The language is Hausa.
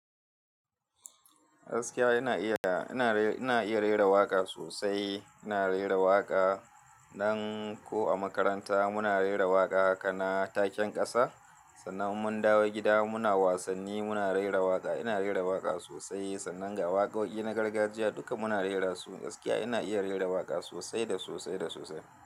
Gaskiya ina iya, ina, ina iya rera waƙa sosai. Ina rera waƙa nan ko a makaranta. Muna rera waƙa haka na taken ƙasa. Sannan mun dawo gida muna wasanni muna rera waƙa. Ina rera waƙa sosai. Sannan ga waƙoƙi na gargajiya duka muna rera su. Gaskiya ina iya rera waƙa sosai da sosai da sosai.